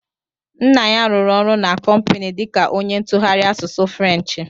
Nna ya rụrụ ọrụ na kompini dika onye ntụgharị asụsụ Frenchi.